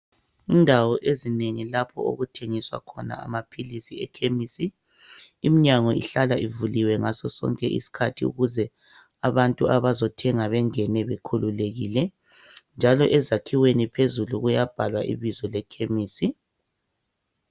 Indawo ezinengi lapho okuthengiswa khona amaphilisi ekhemisi iminyango ihlala ivuliwe ngaso sonke isikhathi ukuze abantu abazothenga bangene bekhululekile njalo ezakhiweni phezulu kuyabhalwa ibizo lekhimisi